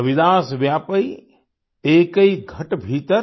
रविदास व्यापै एकै घट भीतर